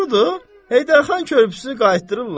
Heydər xan körpüsünü qaytırdırlar?